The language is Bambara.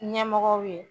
Ɲɛmɔgɔw ye